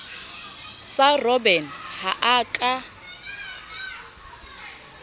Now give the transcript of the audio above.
sa robben ha a ka